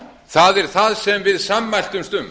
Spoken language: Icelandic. það er það sem við sammæltumst um